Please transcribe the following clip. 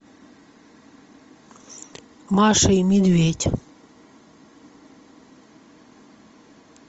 маша и медведь